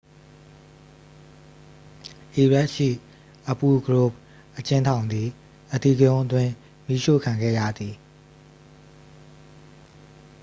အီရတ်ရှိ အဘူ ဂရိုဘ် အကျဉ်းထောင်သည် အဓိကရုဏ်းအတွင်း မီးရှို့ခံခဲ့ရသည်